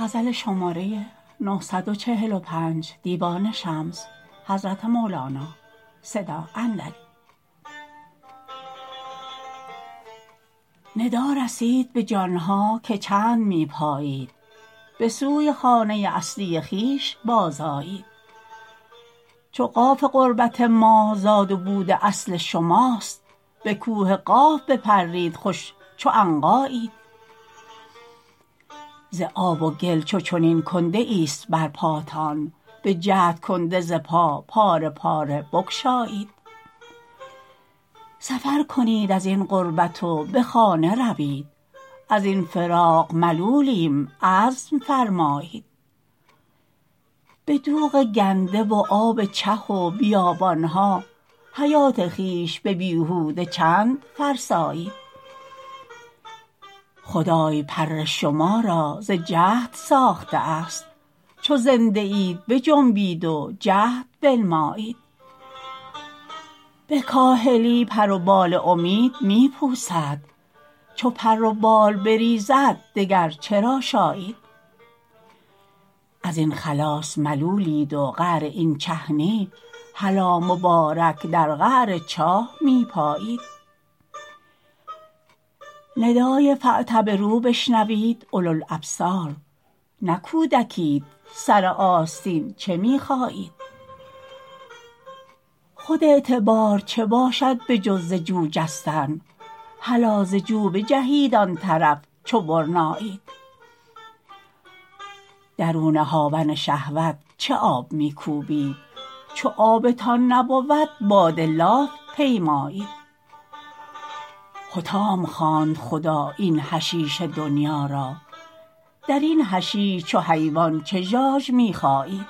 ندا رسید به جان ها که چند می پایید به سوی خانه اصلی خویش بازآیید چو قاف قربت ما زاد و بود اصل شماست به کوه قاف بپرید خوش چو عنقایید ز آب و گل چو چنین کنده ایست بر پاتان بجهد کنده ز پا پاره پاره بگشایید سفر کنید از این غربت و به خانه روید از این فراق ملولیم عزم فرمایید به دوغ گنده و آب چه و بیابان ها حیات خویش به بیهوده چند فرسایید خدای پر شما را ز جهد ساخته است چو زنده اید بجنبید و جهد بنمایید به کاهلی پر و بال امید می پوسد چو پر و بال بریزد دگر چه را شایید از این خلاص ملولید و قعر این چه نی هلا مبارک در قعر چاه می پایید ندای فاعتبروا بشنوید اولوالابصار نه کودکیت سر آستین چه می خایید خود اعتبار چه باشد به جز ز جو جستن هلا ز جو بجهید آن طرف چو برنایید درون هاون شهوت چه آب می کوبید چو آبتان نبود باد لاف پیمایید حطام خواند خدا این حشیش دنیا را در این حشیش چو حیوان چه ژاژ می خایید